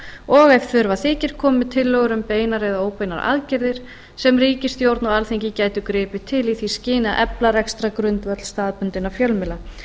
og ef þurfa þykir komið með tillögur um beinar eða óbeinar aðgerðir sem ríkisstjórn og alþingi gætu gripið til í því skyni að efla rekstrargrundvöll staðbundinna fjölmiðla